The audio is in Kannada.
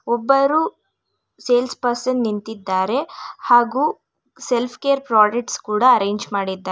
ಒಬ್ಬರು ಸೇಲ್ಸ್ ಪರ್ಸನ್ ನಿಂತಿದ್ದಾರೆ ಹಾಗೂ ಸೆಲ್ಫ್ ಕೇರ್ ಪ್ರಾಡಕ್ಟ್ಸ್ ಕೂಡ ಅರೆಂಜ್ ಮಾಡಿದ್ದಾರೆ ಮತ್--